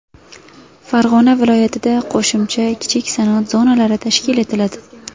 Farg‘ona viloyatida qo‘shimcha kichik sanoat zonalari tashkil etiladi.